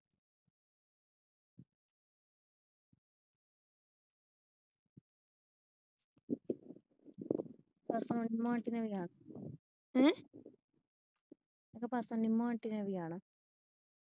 ਪਰਸੋ ਨਿੰਮੋ ਆਂਟੀ ਨੇ ਵੀ ਆਣਾ।